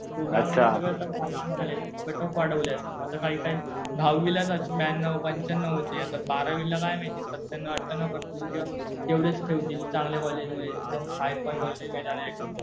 कोरोनामुळे सगळे आता वाढवले कट ऑफ वाढवलेत. आता काही काही दहावीलाच आज ब्यान्नव, पंच्यान्नव होते. आता बारावीला काय माहिती. सत्यांनो-आठयांनो करतील किंवा तेवढेच ठेवतील. चांगल्या कॉलेजमध्ये एकदम हाय फाय कॉलेज मध्ये जाण्यासाठी.